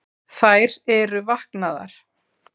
Þær eru vaknaðar